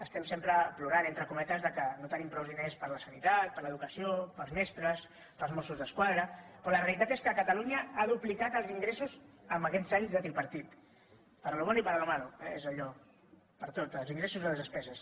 estem sempre plorant entre cometes que no tenim prou diners per a la sanitat per a l’educació per als mestres per als mossos d’esquadra però la realitat és que catalunya ha duplicat els ingressos aquests anys de tripartit para lo bueno y para lo maloper tot els ingressos i les despeses